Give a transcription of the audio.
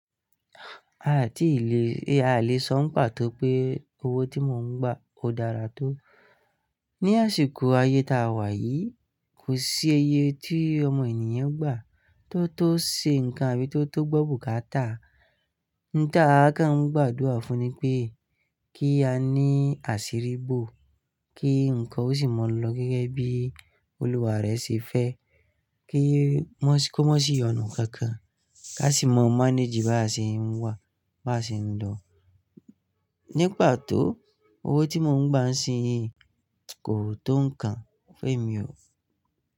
A à ti lè, ẹ a lè sọ̀ún pà tó pé owó tí mò ń gbà ò dára tó. Ni àsìkò ayé ta a wà yìí, kò sí iye tí ọmọ ènìyàn gbà tó tó ṣe nǹkan àbí tó tó gbó bùkátà. Ní ta a ka ń gbàdúrà fún ni pé kí a ní àṣírí bò, kí nǹkan ó sì mọ̀ lọ gẹ́gẹ́ bí Olúwa rẹ̀ ṣe fẹ́, kí kómọ́ sì yànù kankan ká sì mọ̀ manage ìbá ṣe ń wà, bá ṣe ń nlọ̀. Ní pà tó owó tí mò ń gbà ń sí yín kò tó nǹkan. Femi o.